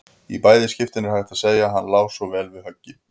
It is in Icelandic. Í bæði skiptin er hægt að segja: Hann lá svo vel við höggi.